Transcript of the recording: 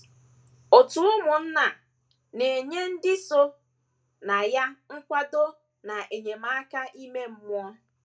Òtù ụmụnna a na - enye ndị so na ya nkwado na enyemaka ime mmụọ.